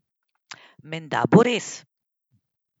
Menda bo res!